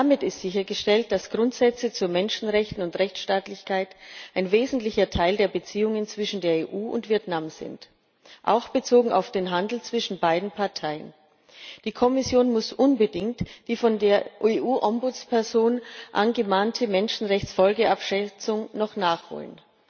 Damit ist sichergestellt, dass Grundsätze bei Menschenrechten und Rechtstaatlichkeit ein wesentlicher Teil der Beziehungen zwischen der EU und Vietnam sind auch bezogen auf den Handel zwischen beiden Parteien. Die Kommission muss noch unbedingt die von der dem EU Bürgerbeauftragten angemahnte Menschenrechts Folgenabschätzung nachholen.